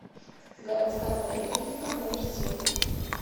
городская поликлиника номер семь